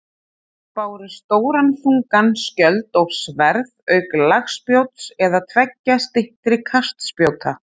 Þeir báru stóran þungan skjöld og sverð auk lagspjóts eða tveggja styttri kastspjóta.